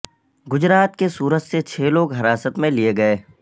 گجرات کے سورت سے چھ لوگ حراست میں لئے گئے